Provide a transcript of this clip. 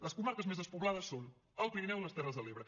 les comarques més despoblades són el pirineu i les terres de l’ebre